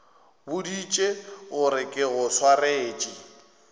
boditše gore ke go swaretše